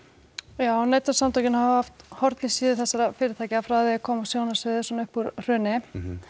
já Neytendasamtökin hafa haft horn í síðu þessara fyrirtækja frá því að þau komu á sjónarsviðið svona upp úr hruni